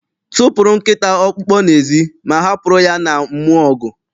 Tụpụrụ nkịta ọkpụkpụ n'ezi, ma hapụrụ ya na mmụọ ọgụ!